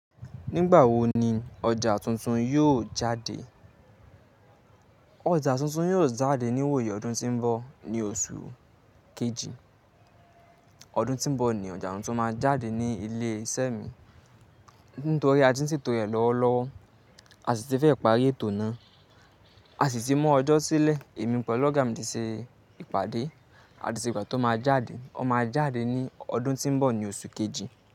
Nígbà wo ni ọjà tuntun yóò jade Ọja tuntun yóò jáde ní wòyí ọdún tó ń bọ̀. Ní oṣù kejì ọdún tó ń bọ̀ ni ọjà tuntun máa jáde ní ilé iṣẹ́ mi. Nítorí a ti ń ṣètò rẹ̀ lọ́wọ́lọ́wọ́, a sì ti fẹ́ parí ètò náà, a sì ti mọ́ ọjọ́ sílẹ̀ èmi pẹ̀lú ọ̀gá mi ti ṣe ìpàdé àti ṣe ìgbà tó máa jáde. Ó máa jáde ní ọdún tó ń bọ̀, ní oṣù kejì.